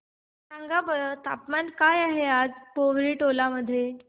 सांगा बरं तापमान काय आहे आज पोवरी टोला मध्ये